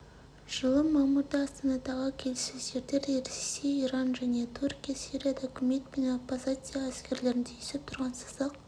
жылы мамырда астанадағы келіссөздерде ресей иран және түркия сирияда үкімет пен оппозиция әскерлерінің түйісіп тұрған сызық